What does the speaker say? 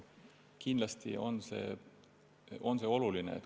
Kindlasti on see oluline.